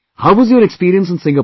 How was your experience in Singapore